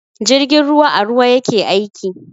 Jirgin ruwa a ruwa yake aiki.